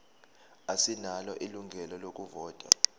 asinalo ilungelo lokuvota